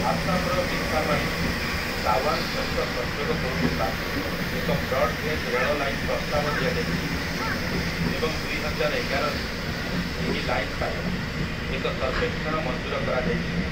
ଆସାମର ମିସାମାରିକୁ ତାୱାଙ୍ଗ ସହିତ ସଂଯୋଗ କରୁଥିବା ଏକ ବ୍ରଡ୍‌ ଗେଜ୍ ରେଳ ଲାଇନ୍‌‌ ପ୍ରସ୍ତାବ ଦିଆଯାଇଛି ଏବଂ ଦୁଇହଜାର ଏଗାରରେ ଏହି ଲାଇନ୍‌‌ ପାଇଁ ଏକ ସର୍ବେକ୍ଷଣ ମଞ୍ଜୁର କରାଯାଇଥିଲା ।